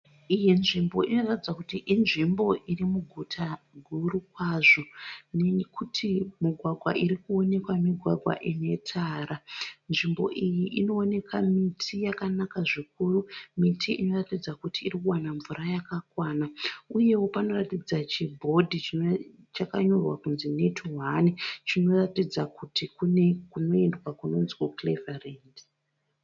Iyi nzvimbo inoratidza kuti inzvimbo iri muguta guru kwazvo nekuti mugwagwa iri kuonekwa migwagwa ine tara nzvimbo iyi inooneka miti yakanaka zvikuru miti inoratidza kuti iri kuwana mvura yakakwana uyewo panoratidza chibhodhi chakanyorwa kunzi NetOne chinoratidza kuti kune kunoendwa kunonzi kuCleveland.